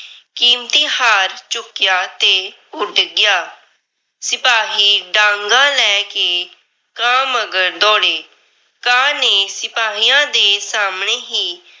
ਕੀਮਤੀ ਹਾਰ ਚੁੱਕਿਆ ਤੇ ਉੱਡ ਗਿਆ। ਸਿਪਾਹੀ ਡਾਂਗਾਂ ਲੈ ਕੇ ਕਾਂ ਮੰਗਰ ਦੌੜੇ, ਕਾਂ ਨੇ ਸਿਪਾਹੀਆਂ ਦੇ ਸਾਹਮਣੇ ਹੀ।